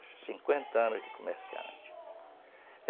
cinquenta anos de comerciante.